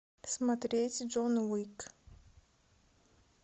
смотреть джон уик